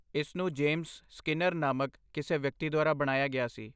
ਇਸਨੂੰ James Skinner ਨਾਮਕ ਕਿਸੇ ਵਿਅਕਤੀ ਦੁਆਰਾ ਬਣਾਇਆ ਗਿਆ ਸੀ।